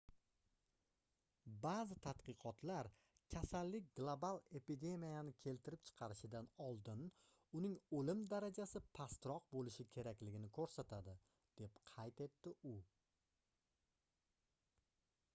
baʼzi tadqiqotlar kasallik global epidemiyani keltirib chiqarishidan oldin uning oʻlim darajasi pastroq boʻlishi kerakligini koʻrsatadi deb qayd etdi u